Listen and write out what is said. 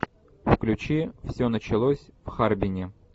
включи все началось в харбине